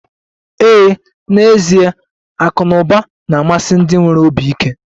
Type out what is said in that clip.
Ee, n'ezie akụ na ụba na-amasị ndị nwere obi ike